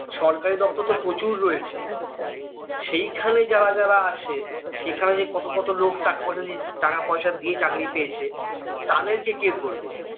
সরকারি দপ্তর তো প্রচুর রয়েছে সেইখানে যারা যারা আছে সেইখানে যে কত কত লোক টাকা পয়সার দিয়ে দিয়ে চাকরি পেয়েছে তাদেরকে কে ধরবে